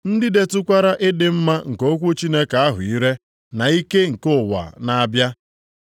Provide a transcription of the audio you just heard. ndị detụkwara ịdị mma nke okwu Chineke ahụ ire na ike nke ụwa na-abịa,